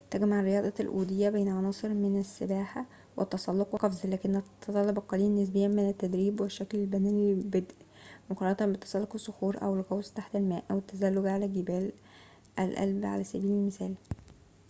تجمع رياضة الأودية بين عناصر من السباحة والتسلق والقفز - ولكنها تتطلب القليل نسبياً من التدريب أو الشكل البدني للبدء مقارنة بتسلق الصخور أو الغوص تحت الماء أو التزلج على جبال الألب، على سبيل المثال